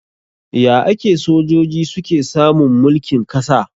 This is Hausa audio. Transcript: Ya ake sojoji suke samun mulkin kasa?